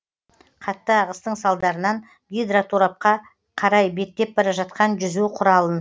қатты ағыстың салдарынан гидроторапқа қарай беттеп бара жатқан жүзу құралын